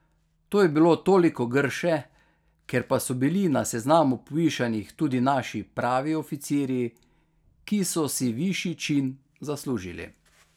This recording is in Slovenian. To je bilo toliko grše, ker pa so bili na seznamu povišanih tudi naši pravi oficirji, ki so si višji čin zaslužili.